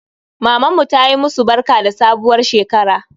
Mamanmu tayi musu barka da sabuwar shekara